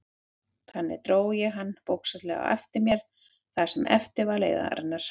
Þannig dró ég hana bókstaflega á eftir mér það sem eftir var leiðarinnar.